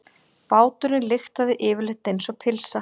Báturinn lyktaði yfirleitt einsog pylsa.